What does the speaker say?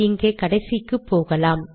இங்கே கடைசிக்கு போகலாம்